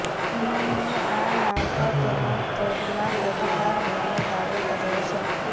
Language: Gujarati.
ઈમામીએ આ નામ પર તેનો ટ્રેડમાર્ક અધિકાર હોવાનો દાવો કર્યો છે